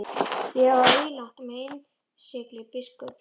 Bréfið var ílangt og með innsigli biskups.